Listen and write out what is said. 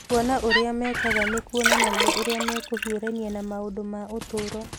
Kuona ũrĩa mekaga nĩ kuonanagia ũrĩa mekũhiũrania na maũndũ ma ũtũũro.